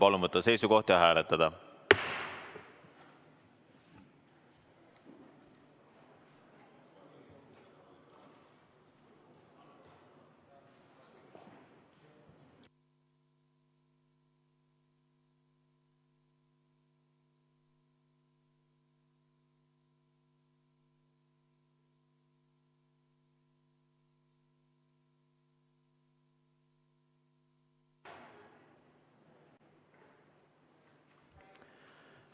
Palun võtta seisukoht ja hääletada!